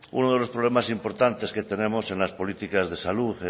uno de los problemas más importantes que tenemos en las políticas de salud